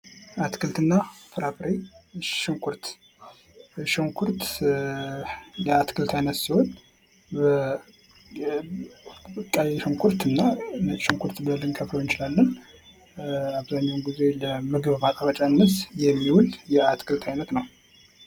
አትክልትና ፍራፍሬ ሽንኩርት ሽንኩርት የአትክልት አይነት ሲሆን ቀይ ሽንኩርትና ነጭ ሽንኩርት ብለን ልንከፍለው እንችላለን አብዛኛውን ጊዜ ለምግብ ማጣፈጫነት የሚውል የአትክልት አይነት ነው።